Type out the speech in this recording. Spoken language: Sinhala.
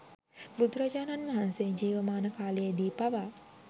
බුදුරජාණන් වහන්සේ ජීවමාන කාලයේදී පවා